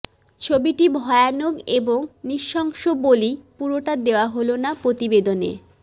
ছবিটি ভয়ানক এবং নৃশংস বলেই পুরোটা দেওয়া হল না প্রতিবেদনে